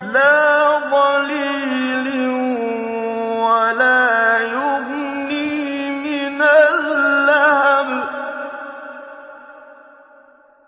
لَّا ظَلِيلٍ وَلَا يُغْنِي مِنَ اللَّهَبِ